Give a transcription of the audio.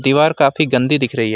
दीवार काफी गंदी दिख रही है।